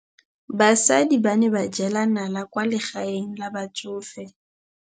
Basadi ba ne ba jela nala kwaa legaeng la batsofe.